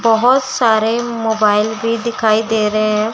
बहोत सारे मोबाइल भी दिखाई दे रहे हैं।